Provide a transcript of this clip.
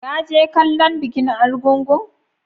Ka je kallon bikin argungu?